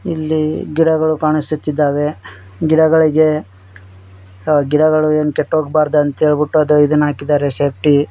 ಇಲ್ಲಿ ಗಿಡಗಳು ಕಾಣಿಸುತ್ತಿದ್ದಾವೆ ಗಿಡಗಳಿಗೆ ಆ ಗಿಡಗಳು ಎನ್ ಕೆಟ್ಟೋಗ್ಬಾರ್ದು ಅಂತ ಹೇಳ್ಬಿಟ್ಟು ಅದ ಇದನ್ನ ಹಾಕಿದರ ಸೇಫ್ಟಿ .